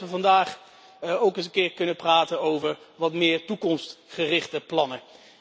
Ik ben blij dat we vandaag ook eens kunnen praten over wat meer toekomstgerichte plannen.